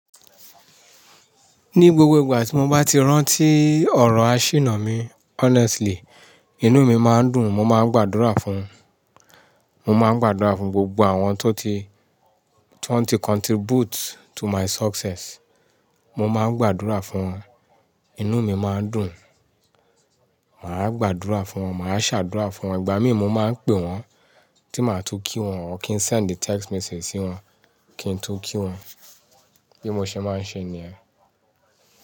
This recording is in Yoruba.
Ní gbogbo ìgbà tí mo bá ti rántí ọ̀rọ̀ áṣìnà mi honestly, inú mi máa ń dùn, mo máa ń gbàdúrà fún, mo máa ń gbàdúrà fún gbogbo àwọn tó ti, tiwọn ti contribute to my success. Mo máa ń gbàdúrà fún wọn, inú mi máa ń dùn. Màá gbàdúrà fún wọn, màá ṣàdúrà fún wọn. Ìgbà mí mo máa ń pè wọ́n tí màá tó kí wọ́n or kí n send text message sí wọ́n kí n tó kí wọ́n. Bí mo ṣe máa ń ṣe ni yẹ́n.